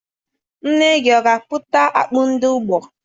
Nne gị ọ ga-abụta akpụ n'ugbo?